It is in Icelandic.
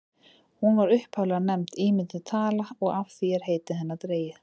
hún var upphaflega nefnd ímynduð tala og af því er heiti hennar dregið